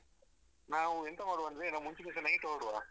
ನಾವು ಎಂತ ಮಾಡುವ ಅಂದ್ರೆ ನಾವು ಮುಂಚಿನ್ ದಿವ್ಸ night ಹೊರ್ಡುವ.